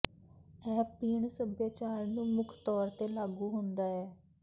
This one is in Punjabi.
ਇਹ ਪੀਣ ਸਭਿਆਚਾਰ ਨੂੰ ਮੁੱਖ ਤੌਰ ਤੇ ਲਾਗੂ ਹੁੰਦਾ ਹੈ